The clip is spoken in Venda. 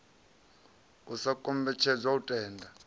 u sa kombetshedzwa u tenda